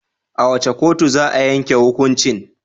A wace kotu za a yanke hukuncin?